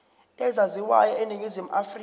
ezaziwayo eningizimu afrika